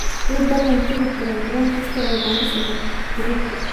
ii ballan tigidh tareen tareen kasta oo garissa berrito